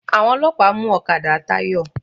Àwọn ọlọ́pàá mú ọ̀kadà Táyọ̀.